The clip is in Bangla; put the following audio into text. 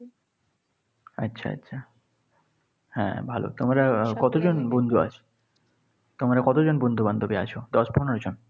আচ্ছা, আচ্ছা। হ্যাঁ ভালো। তোমরা কতজন বন্ধু আসবে? তোমরা কতজন বন্ধুবান্ধবী আছ? দশ পনেরো জন?